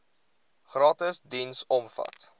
gratis diens omvat